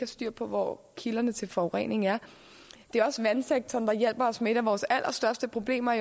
styr på hvor kilderne til forureningen er det er også vandsektoren der hjælper os med et af vores allerstørste problemer